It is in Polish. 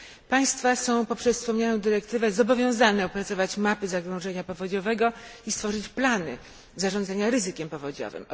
Państwa są poprzez wspomnianą dyrektywę zobowiązane opracować mapy zagrożenia powodziowego i stworzyć plany zarządzania ryzykiem powodziowym.